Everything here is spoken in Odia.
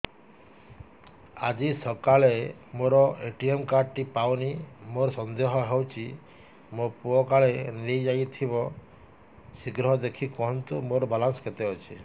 ଆଜି ସକାଳେ ମୋର ଏ.ଟି.ଏମ୍ କାର୍ଡ ଟି ପାଉନି ମୋର ସନ୍ଦେହ ହଉଚି ମୋ ପୁଅ କାଳେ ନେଇଯାଇଥିବ ଶୀଘ୍ର ଦେଖି କୁହନ୍ତୁ ମୋର ବାଲାନ୍ସ କେତେ ଅଛି